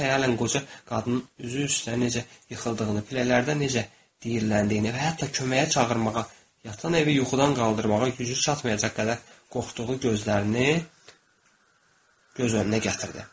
O xəyalən qoca qadın üzü üstə necə yıxıldığını, pillələrdə necə deyiləndiyini və hətta köməyə çağırmağa, yatan evi yuxudan qaldırmağa gücü çatmayacaq qədər qorxduğu gözlərini göz önünə gətirdi.